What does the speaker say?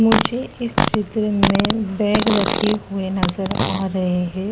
मुझे इस चित्र में बैग रखे हुए नजर आ रहे हैं।